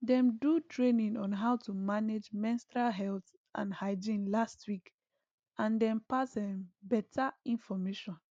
them do training on how to manage menstrual health and hygiene last week and them pass um better information